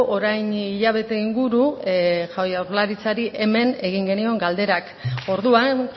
orain hilabete inguru jaurlaritzari hemen egin genion galderak orduan